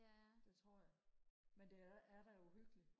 det tror jeg men det er da uhyggeligt